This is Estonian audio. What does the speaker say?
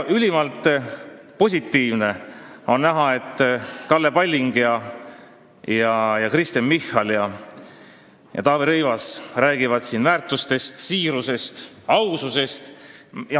Ülimalt positiivne on näha, et Kalle Palling, Kristen Michal ja Taavi Rõivas räägivad siin väärtustest, siirusest ja aususest.